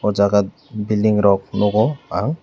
aw jaaga building rok nugo ang.